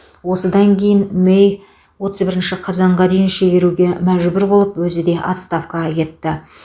осыдан кейін мэй отыз бірінші қазанға дейін шегеруге мәжбүр болып өзі де отставкаға кетті